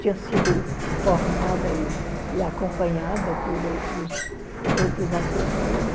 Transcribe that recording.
Tinha sido formada e e acompanhada por outros outros assessores.